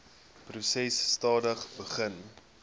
proses stadig begin